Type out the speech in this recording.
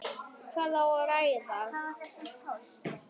Hvað á að ræða?